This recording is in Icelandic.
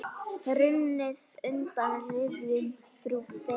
Runnið undan rifjum frú Beru.